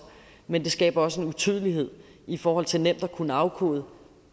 men det skaber også en utydelighed i forhold til nemt at kunne afkode